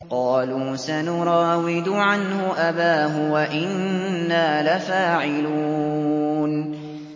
قَالُوا سَنُرَاوِدُ عَنْهُ أَبَاهُ وَإِنَّا لَفَاعِلُونَ